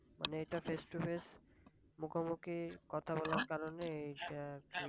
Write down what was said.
মানে এটা face to face মুখামুখি কথা বলার কারণে আর কি ।